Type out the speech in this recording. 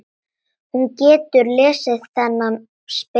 Hún getur lesið þennan spegil.